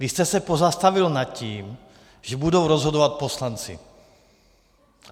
Vy jste se pozastavil nad tím, že budou rozhodovat poslanci.